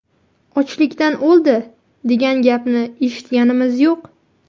Ochlikdan o‘ldi, degan gapni eshitganimiz yo‘q.